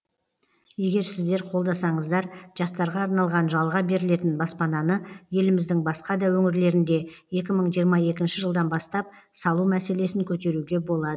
егер сіздер қолдасаңыздар жастарға арналған жалға берілетін баспананы еліміздің басқа да өңірлерінде екі мың жиырма екінші жылдан бастап салу мәселесін көтеруге болады